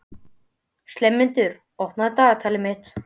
slefmundur, opnaðu dagatalið mitt.